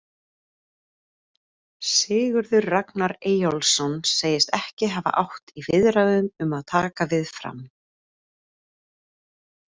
Sigurður Ragnar Eyjólfsson segist ekki hafa átt í viðræðum um að taka við Fram.